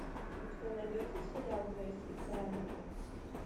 у тебя найдется сериал грейс и фрэнки